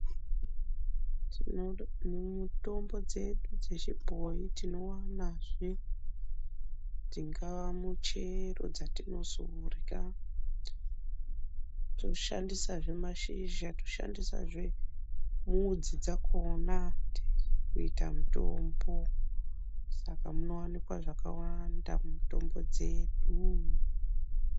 Mitombo dzedu dzebhoyi tinoonazve dzingaa michero dzatinodya. Tinoshandisazve mashizha, tinoshandisazve midzi dzakhona kuita mutombo. Saka munowanikwa zvakawanda mumutombo dzedu.